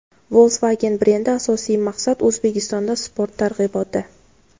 Volkswagen brendi: Asosiy maqsad — O‘zbekistonda sport targ‘iboti.